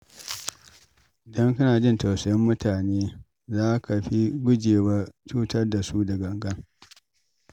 Idan kana jin tausayin mutane, za ka fi gujewa cutar da su da gangan.